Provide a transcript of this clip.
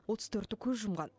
отыз төрті көз жұмған